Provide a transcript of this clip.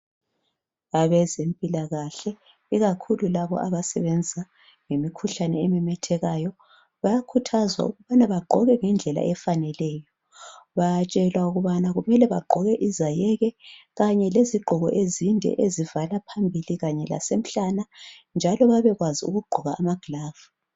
Abezempilakahle ikakhulu labo abasebenza imikhuhlane ememethekayo bayakhuthazwa ukubana bagqoke ngendlela efaneleyo bayatshelwa ukubana bagqoke izayeke kanye lezigqoko ezinde ezivala phambili kanye lasemhlane njalo babekwazi ukugqoka amagilovisi.